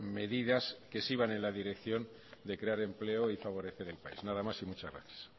medidas que sí van en la dirección de crear empleo y favorecer el país nada más y muchas gracias